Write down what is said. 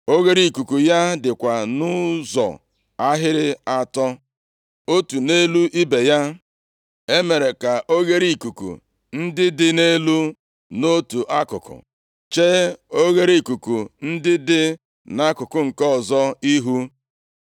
Oghereikuku ya dịkwa nʼụzọ ahịrị atọ, otu nʼelu ibe ya. E mere ka oghereikuku ndị dị nʼelu nʼotu akụkụ chee oghereikuku ndị dị nʼakụkụ nke ọzọ ihu.